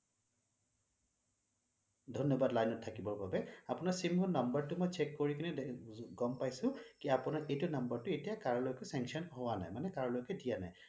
ধন্যবাদ line ত থাকিবৰ বাবে আপোনাৰ sim ৰ number টো check কৰি কেনে মই গম পাইছোঁ কি আপোনাৰ এইটো number টো এতিয়া কাৰো লগতে sanction হোৱা নাই মানে কৰোঁ লৈকে দিয়া নাই